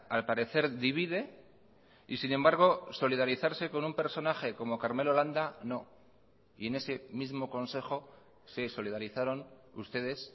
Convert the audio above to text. al parecer divide y sin embargo solidarizarse con un personaje como karmelo landa no y en ese mismo consejo se solidarizaron ustedes